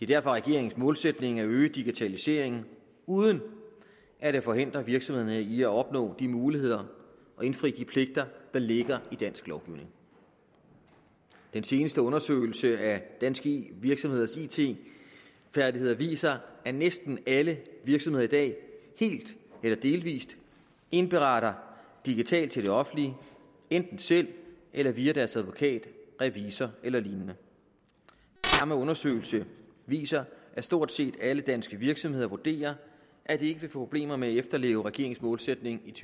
derfor regeringens målsætning at øge digitaliseringen uden at det forhindrer virksomhederne i at opnå de muligheder og indfri de pligter der ligger i dansk lovgivning den seneste undersøgelse af danske virksomheders it færdigheder viser at næsten alle virksomheder i dag helt eller delvis indberetter digitalt til det offentlige enten selv eller via deres advokat revisor eller lignende samme undersøgelse viser at stort set alle danske virksomheder vurderer at de ikke vil få problemer med at efterleve regeringens målsætning i